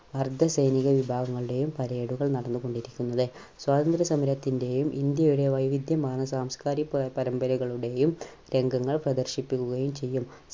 അർദ്ധ സൈനിക വിഭാഗങ്ങളുടെയും parade കൾ നടന്നുകൊണ്ടിരിക്കുന്നത്. സ്വാതന്ത്ര്യ സമരത്തിന്റെയും ഇന്ത്യയുടെ വൈവിധ്യമാർന്ന സാംസ്കാരിക പ~പരമ്പരകളുടെയും രംഗങ്ങൾ പ്രദർശിപ്പിക്കുകയും ചെയ്യും.